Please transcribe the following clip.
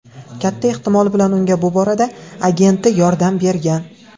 Katta ehtimol bilan unga bu borada agenti yordam bergan.